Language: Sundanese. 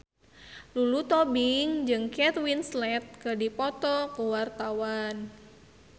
Lulu Tobing jeung Kate Winslet keur dipoto ku wartawan